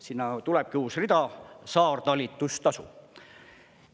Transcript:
Sinna tulebki uus rida: saartalitlustasu.